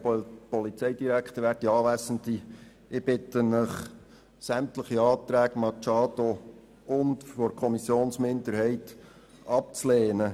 Ich bitte Sie, sämtliche Anträge der Grünen und der Kommissionsminderheit abzulehnen.